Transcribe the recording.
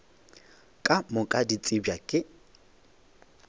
ka moka di tsebja ke